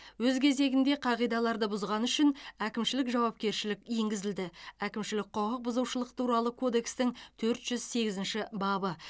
өз кезегінде қағидаларды бұзғаны үшін әкімшілік жауапкершілік енгізілді әкімшілік құқық бұзушылық туралы кодекстың төрт жүз сегізінші бабы